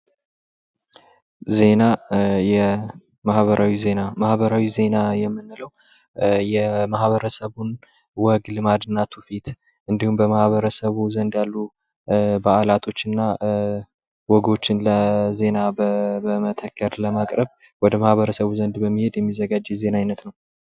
ዜና የማህበራዊ ዜና:-ማህበራዊ ዜና የምንለዉ የማህበረሰቡን ወግ፣ ልማድ እና ቱፊት እንዲሁም በዓላቶች እና ወጎችን ለዜና ለማቅረብ ወደ ማህበረሰቡ በመቅረብ በመሄድ የሚዘጋጅ የዜና አይነት ነዉ።